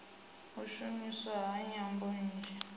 u shumiswa ha nyambo nnzhi